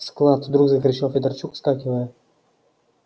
склад вдруг закричал федорчук вскакивая